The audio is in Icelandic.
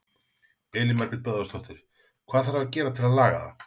Elín Margrét Böðvarsdóttir: Hvað þarf að gera til að laga það?